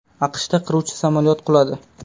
AQShda qiruvchi samolyot quladi.